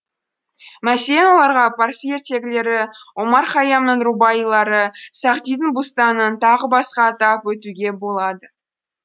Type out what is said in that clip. мәселен оларға парсы ертегілері омар һайямның рубаилары сағдидің бустанын тағы басқа атап өтуге болады